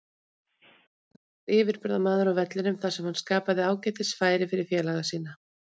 Kaka var yfirburðamaður á vellinum þar sem hann skapaði ágætis færi fyrir félaga sína.